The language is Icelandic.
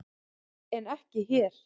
En ekki hér.